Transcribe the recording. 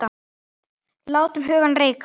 Látum hugann reika.